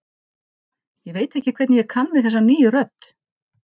Ég veit ekki hvernig ég kann við þessa nýju rödd.